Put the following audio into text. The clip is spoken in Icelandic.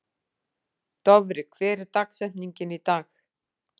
Dofri, hver er dagsetningin í dag?